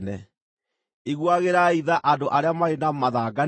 Iguagĩrai tha andũ arĩa marĩ na mathangania,